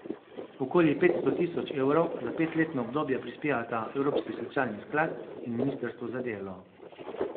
Okoli petsto tisoč evrov za petletno obdobje prispevata Evropski socialni sklad in ministrstvo za delo.